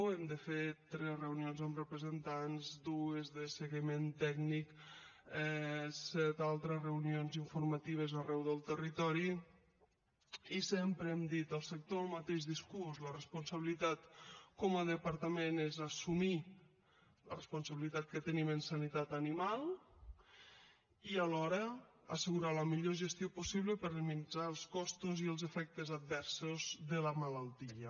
hem de fer tres reunions amb representants dues de seguiment tècnic set altres reunions informatives arreu del territori i sempre hem dit al sector el mateix discurs la responsabilitat com a departament és assumir la responsabilitat que tenim en sanitat animal i alhora assegurar la millor gestió possible per minimitzar els costos i els efectes adversos de la malaltia